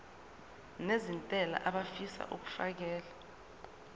nezentela abafisa uukfakela